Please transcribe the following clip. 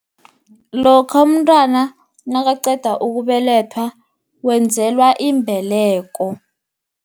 Lokha umntwana, nakaqeda ukubelethwa wenzelwa imbeleko.